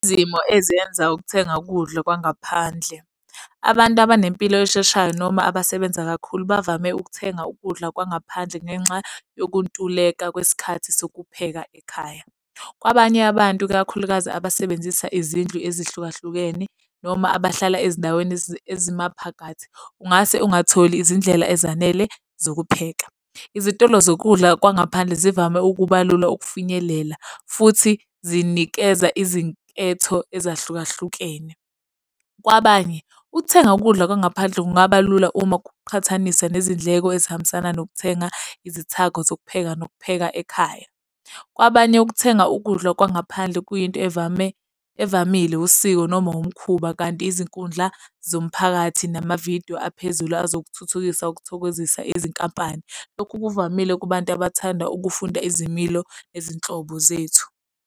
Izimo ezenza ukuthenga ukudla kwangaphandle. Abantu abanempilo esheshayo noma abasebenza kakhulu bavame ukuthenga ukudla kwangaphandle ngenxa yokuntuleka kwesikhathi sokupheka ekhaya. Kwabanye abantu, ikakhulukazi abasebenzisa izindlu ezihlukahlukene noma abahlala ezindaweni ezimaphakathi, ungase ungatholi izindlela ezanele zokupheka. Izitolo zokudla kwangaphandle zivame ukuba lula ukufinyelela, futhi zinikeza izinketho ezahlukahlukene. Kwabanye, ukuthenga ukudla kwangaphandle kungaba lula uma kuqhathaniswa nezindleko ezihambisana nokuthenga izithako zokupheka nokupheka ekhaya. Kwabanye ukuthenga ukudla kwangaphandle kuyinto evame, evamile usiko noma umkhuba. Kanti izinkundla zomphakathi namavidiyo aphezulu ezokuthuthukisa ukuthokozisa izinkampani. Lokhu kuvamile kubantu abathanda ukufunda izimilo nezinhlobo zethu.